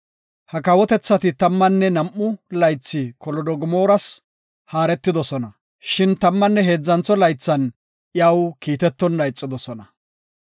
Ha kawotethati tammanne nam7u laythi Kolodogomooras haaretidosona shin tammanne heedzantho laythan iyaw kiitetonna ixidosona.